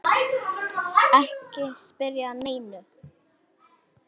Ekki spyrja að neinu!